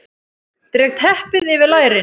Dreg teppið yfir lærin.